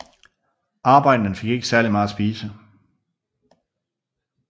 Arbejderne fik ikke særlig meget at spise